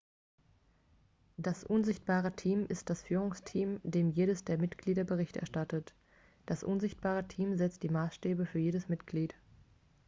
"das "unsichtbare team" ist das führungsteam dem jedes der mitglieder bericht erstattet. das unsichtbare team setzt die maßstäbe für jedes mitglied.x